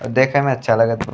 और देखे में अच्छा लगत बा।